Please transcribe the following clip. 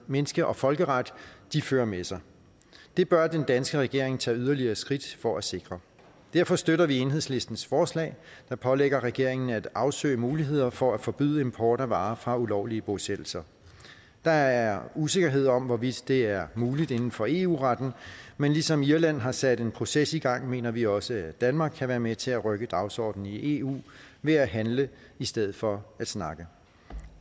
menneske og folkeret de fører med sig det bør den danske regering tage yderligere skridt for at sikre derfor støtter vi enhedslistens forslag der pålægger regeringen at afsøge muligheder for at forbyde import af varer fra ulovlige bosættelser der er usikkerhed om hvorvidt det er muligt inden for eu retten men ligesom irland har sat en proces i gang mener vi også at danmark kan være med til at rykke dagsordenen i eu ved at handle i stedet for at snakke